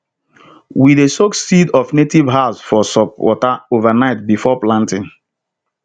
we dey soak seeds of native herbs for salt water overnight before planting